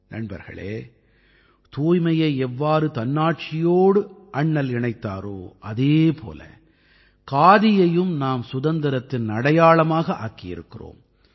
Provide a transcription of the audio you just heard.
நண்பர்களே தூய்மையை எவ்வாறு தன்னாட்சியோடு அண்ணல் இணைத்தாரோ அதே போல காதியையும் நாம் சுதந்திரத்தின் அடையாளமாக ஆக்கியிருக்கிறோம்